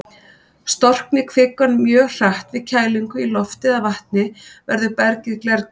Storkni kvikan mjög hratt við kælingu í lofti eða vatni, verður bergið glerkennt.